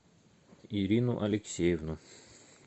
ирину алексеевну